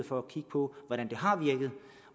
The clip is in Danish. for at kigge på hvordan det har virket